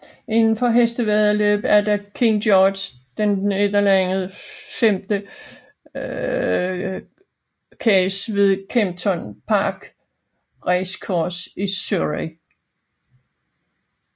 Indenfor hestevæddeløb er der King George VI Chase ved Kempton Park Racecourse i Surrey